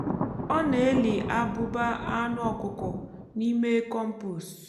ọ na-eli abụba anụ ọkụkọ n'ime kọmpost. um